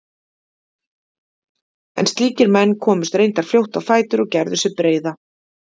En slíkir menn komust reyndar fljótt á fætur og gerðu sig breiða.